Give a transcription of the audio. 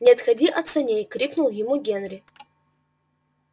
не отходи от саней крикнул ему генри